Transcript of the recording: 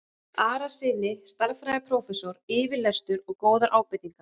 Arasyni stærðfræðiprófessor yfirlestur og góðar ábendingar.